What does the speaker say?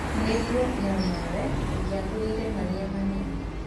Niguo no nawe ũnjagũrĩre marĩa manene